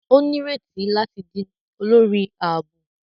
O nireti lati di olórí ààbò